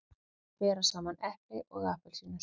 Að bera saman epli og appelsínur